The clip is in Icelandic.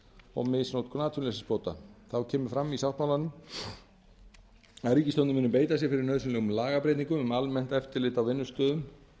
og misnotkun atvinnuleysisbóta þá kemur fram í sáttmálanum að ríkisstjórnin muni beita sér fyrir nauðsynlegum lagabreytingum um almennt eftirlit á vinnustöðum